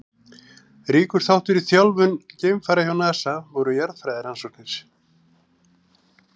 Ríkur þáttur í þjálfun geimfara hjá NASA voru jarðfræðirannsóknir.